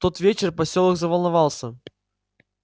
в тот вечер посёлок заволновался